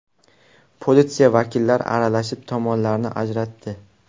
Politsiya vakillari aralashib, tomonlarni ajratdi.